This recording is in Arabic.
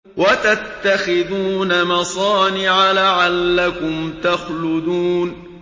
وَتَتَّخِذُونَ مَصَانِعَ لَعَلَّكُمْ تَخْلُدُونَ